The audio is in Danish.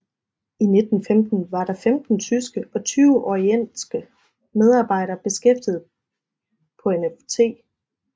I 1915 var der 15 tyske og 20 orientske medarbejdere beskæftiget på NfOt